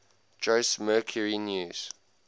jose mercury news